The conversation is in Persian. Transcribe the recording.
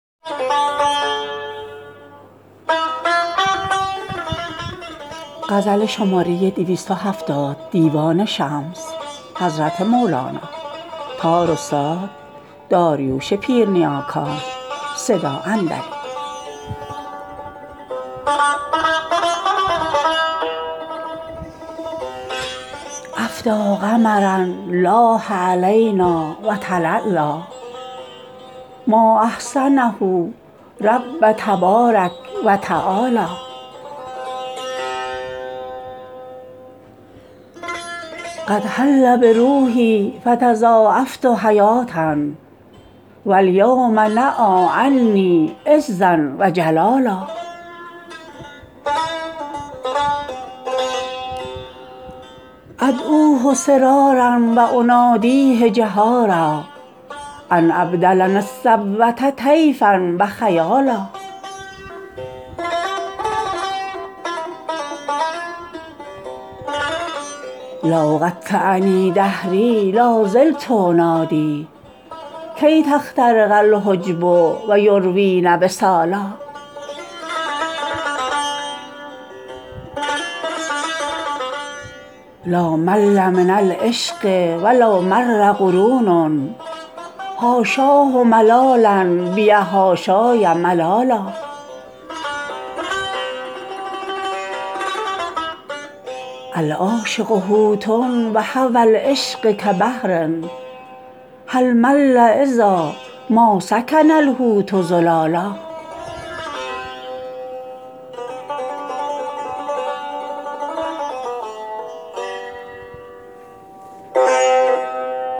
افدی قمرا لاح علینا و تلالا ما احسنه رب تبارک و تعالی قد حل بروحی فتضاعفت حیاه و الیوم نای عنی عزا و جلالا ادعوه سرارا و انادیه جهارا ان ابدلنی الصبوه طیفا و خیالا لو قطعنی دهری لا زلت انادی کی تخترق الجب و یروین وصالا لا مل من العشق و لو مر قرون حاشاه ملالا بی حاشای ملالا العاشق حوت و هوی العشق کبحر هل مل اذا ما سکن الحوت زلالا